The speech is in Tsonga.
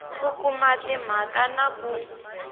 ku kuma timhaka na ku